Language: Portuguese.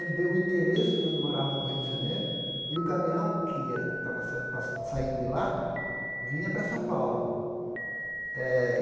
Ele deu o endereço de onde eu morava no Rio de Janeiro e o caminhão que ia estava passa saindo de lá vinha para São Paulo eh.